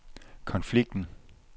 konflikten